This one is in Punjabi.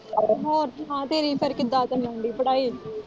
ਹੋਰ ਸੁਣਾ ਤੇਰੀ ਫੇਰ ਕਿੱਦਾ ਚੱਲਣ ਦੀ ਪੜ੍ਹਾਈ।